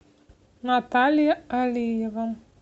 наталья алиева